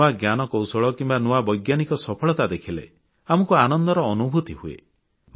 ନୂଆ ଜ୍ଞାନକୌଶଳ କିମ୍ବା ନୂଆ ବୈଜ୍ଞାନିକ ସଫଳତା ଦେଖିଲେ ଆମକୁ ଆନନ୍ଦର ଅନୁଭୂତି ହୁଏ